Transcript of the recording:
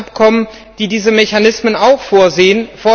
Das sind alles Abkommen, die diese Mechanismen auch vorsehen.